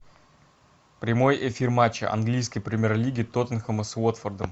прямой эфир матча английской премьер лиги тоттенхэма с уотфордом